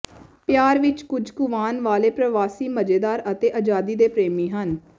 ਪਿਆਰ ਵਿਚ ਕੁੱਝ ਕੁਵਾਣ ਵਾਲੇ ਪ੍ਰਵਾਸੀ ਮਜ਼ੇਦਾਰ ਅਤੇ ਆਜ਼ਾਦੀ ਦੇ ਪ੍ਰੇਮੀ ਹਨ